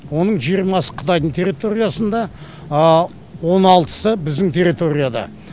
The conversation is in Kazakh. оның жиырмасы қытайдың территориясында он алтысы біздің территорияда